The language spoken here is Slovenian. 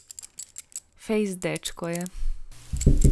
Fejst dečko je.